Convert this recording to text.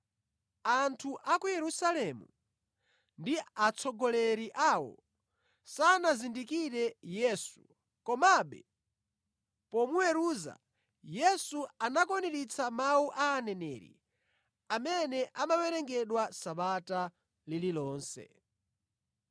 Anthu a ku Yerusalemu ndi atsogoleri awo sanazindikire Yesu, komabe pomuweruza Yesu anakwaniritsa mawu a Aneneri amene amawerengedwa Sabata lililonse.